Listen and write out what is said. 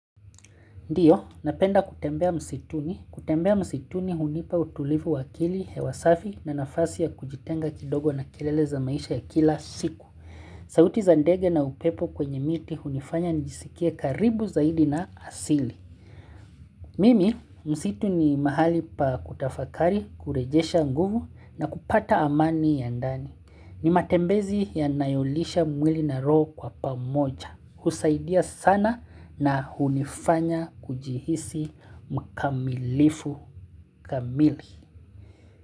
Ndiyo, napenda kutembea msituni. Kutembea msituni hunipa utulivu wa akili hewa safi, na nafasi ya kujitenga kidogo na kelele za maisha ya kila siku. Sauti za ndege na upepo kwenye miti hunifanya njisikie karibu zaidi na asili. Mimi, msitu ni mahali pa kutafakari, kurejesha nguvu na kupata amani ya ndani. Ni matembezi yanayolisha mwili na roho kwa pamoja. Husaidia sana na hunifanya kujihisi mkamilifu kamili.